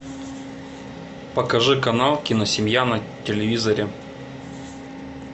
покажи канал киносемья на телевизоре